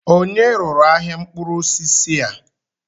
Ònye rụrụ ahịa mkpụrụ osisi a?